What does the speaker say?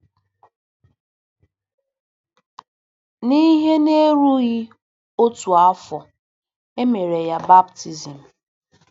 N'ihe na-erughị otu afọ, e mere ya baptizim.